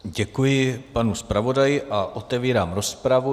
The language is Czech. Děkuji panu zpravodaji a otevírám rozpravu.